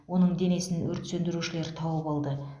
оның денесін өрт сөндірушілер тауып алды